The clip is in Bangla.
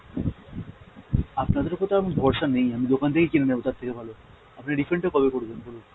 আপনাদের ওপর তো আমার ভরসা নেই আমি দোকান থেকে কিনে নেবো তার থেকে ভালো, আপনি refund টা কবে করবেন বলুন?